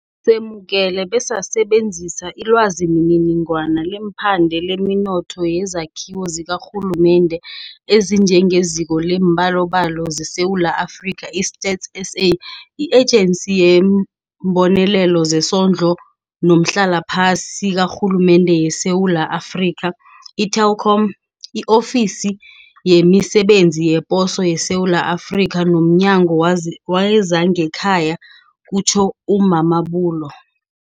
Semukele besasebenzisa ilwazimininingwana leemphande lemithombo yezakhiwo zikarhulumende ezinjengeZiko leemBalobalo zeSewula Afrika, i-StatsSA, i-Ejensi yeeMbonelelo zeSondlo noMhlalaphasi kaRhulumende yeSewula Afrika, i-Telkom, I-Ofisi yemiSe benzi yePoso yeSewula Afrika nomNyango wezangeKhaya, kutjho u-Mamabolo.